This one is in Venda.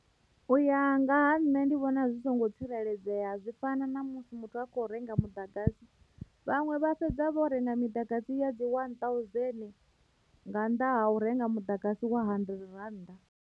U ya nga ha nṋe ndi vhona zwi songo tsireledzea zwi fana na musi muthu a kho renga muḓagasi vhaṅwe vha fhedza vho renga miḓagasi ya dzi wani thousand nga nḓa hau renga muḓagasi wa hundred rannda.